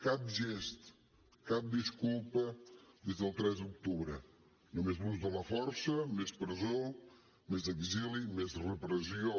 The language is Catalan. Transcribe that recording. cap gest cap disculpa des del tres d’octubre només l’ús de la força més presó més exili més repressió